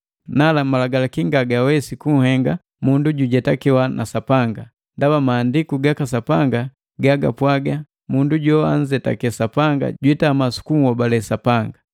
Nala malagalaki ngagawesi kunhenga mundu jujetakewa na Sapanga, ndaba Maandiku gaka Sapanga gagapwaaga: “Mundu joanzetake Sapanga jitama sukunhobale Sapanga.”